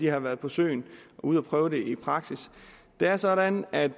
har været på søen og ude at prøve det i praksis det er sådan at